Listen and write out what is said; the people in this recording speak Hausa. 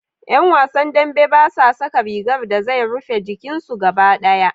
Ƴan wasan dambe basa saka rigar da zai rufe jikin su gaba ɗaya.